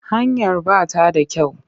Hanyar ba ta da kyau.